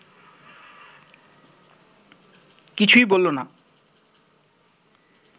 কিছুই বলল না